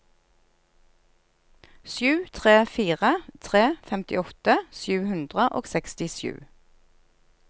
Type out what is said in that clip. sju tre fire tre femtiåtte sju hundre og sekstisju